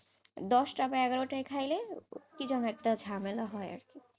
দশটা বা এগারোটাই খাইলে, কি যেন একটা ঝামেলা হয় আর কি,